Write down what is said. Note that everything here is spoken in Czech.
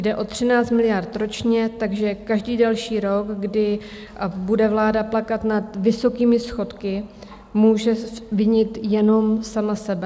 Jde o 13 miliard ročně, takže každý další rok, kdy bude vláda plakat nad vysokými schodky, může vinit jenom sama sebe.